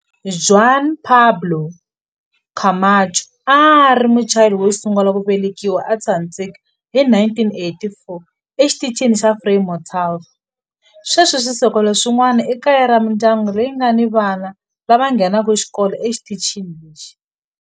Juan Pablo Camacho a a ri Muchile wo sungula ku velekiwa eAntarctica hi 1984 eXitichini xa Frei Montalva. Sweswi swisekelo swin'wana i kaya ra mindyangu leyi nga ni vana lava nghenaka xikolo exitichini lexi.